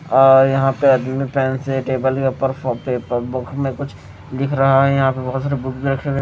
और यहां पे आदमीने पेन से टेबल के ऊपर कॉपी प बुक में कुछ लिख रहा है यहां पे बहोत सारे बुक भी रखे गए--